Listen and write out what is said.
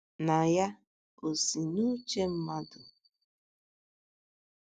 Na ya ò si n’uche mmadụ?